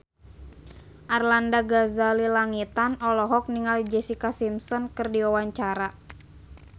Arlanda Ghazali Langitan olohok ningali Jessica Simpson keur diwawancara